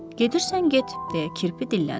Gedirsən, get, deyə kirpi dillənir.